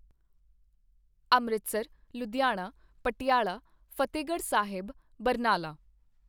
Amritsar, Ludhiana, Patiala, Fatehgarh Sahib, Barnala